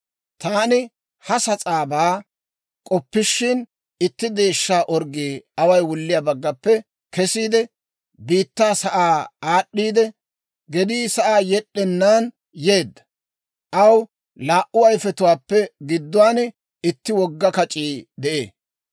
Taani ha sas'aabaa k'oppishin, itti deeshshaa orggii away wulliyaa baggappe kesiide, biittaa sa'aa aad'd'iidde, gedii sa'aa yed'd'ennaan yeedda; aw laa"u ayifetuwaappe gidduwaan itti wogga kac'ii de'ee.